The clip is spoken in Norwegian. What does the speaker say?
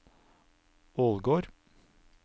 Ålgård